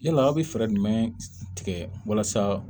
Yala aw bɛ fɛɛrɛ jumɛn tigɛ walasa